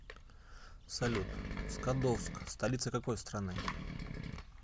салют скадовск столица какой страны